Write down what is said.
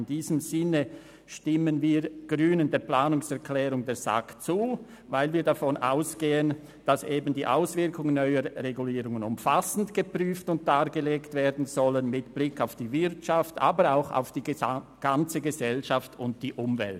In diesem Sinn stimmen wir Grünen der Planungserklärung der SAK zu, weil wir davon ausgehen, dass die Auswirkungen neuer Regulierungen umfassend geprüft und dargelegt werden sollen, mit Blick auf die Wirtschaft, aber auch auf die gesamte Gesellschaft und die Umwelt.